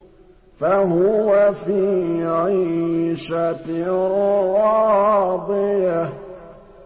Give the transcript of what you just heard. فَهُوَ فِي عِيشَةٍ رَّاضِيَةٍ